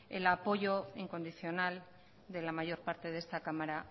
el apoyo incondicional de la mayor parte de esta cámara